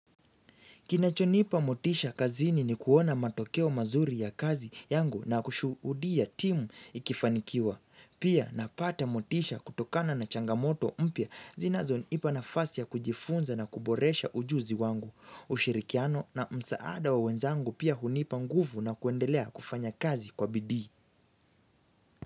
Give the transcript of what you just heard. Kinachonipa motisha kazini ni kuona matokeo mazuri ya kazi yangu na kushuhudia timu ikifanikiwa. Pia napata motisha kutokana na changamoto mpya zinazonipa nafasi ya kujifunza na kuboresha ujuzi wangu. Ushirikiano na msaada wa wenzangu pia hunipa nguvu na kuendelea kufanya kazi kwa bidii.